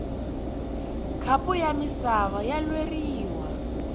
khapu ya misava ya lweriwa